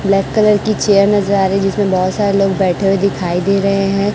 Black colour की chair नजर आ रही है जिसमें बहोत सारे लोग बैठे हुए दिखाई दे रहे हैं।